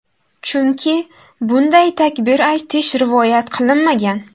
Chunki bunday takbir aytish rivoyat qilinmagan.